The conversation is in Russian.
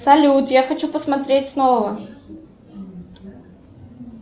салют я хочу посмотреть снова